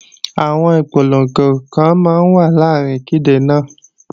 Àwọn ìpolongo kan máa wà láàrín ìkéde náà